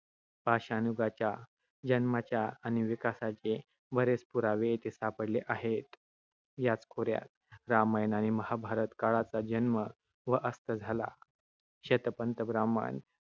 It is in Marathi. पाषाण युगाच्या जन्माच्या आणि विकासाचे बरेच पुरावे येथे सापडले आहेत. याच खोऱ्यात रामायण आणि महाभारत काळाचा जन्म व अस्त झाला. शतपथ ब्राह्मण,